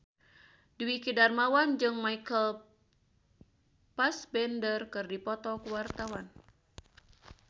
Dwiki Darmawan jeung Michael Fassbender keur dipoto ku wartawan